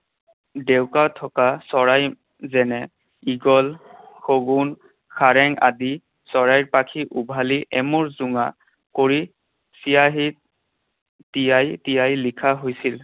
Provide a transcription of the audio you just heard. ডেউকা থকা চৰাই যেনে ঈগল, শগুন, সাৰেং আদি চৰাইৰ পাখি উঘালি এমূৰ জোঙা কৰি চিয়াঁহীত তিয়াই তিয়াই লিখা হৈছিল।